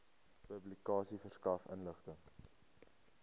publikasie verskaf inligting